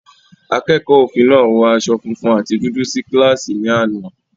Akẹ́kọ̀ọ́ òfin náà wọ aṣọ funfun àti dúdú sí kíláàsì ní àná.